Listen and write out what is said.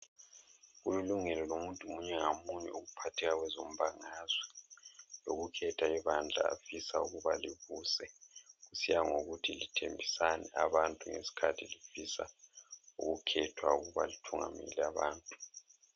Kulilungelo lomuntu munye ngamunye ukuphatheka kwezo mbangazwe. Loku khetha ibandla afisa ukuba libuse. Kusiya ngokuthi lithembisani abantu ngesikhathi lifisa ukukhethwa ukuba lithungamele abantu.